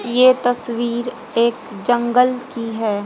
ये तस्वीर एक जंगल की है।